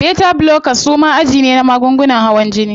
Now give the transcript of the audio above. Beta blockers suma aji ne na magungunan hawan jini.